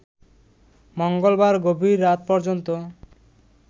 মঙ্গলবার গভীর রাত পর্যন্ত